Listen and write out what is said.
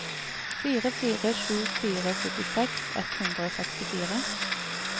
fire fire sju fire syttiseks ett hundre og sekstifire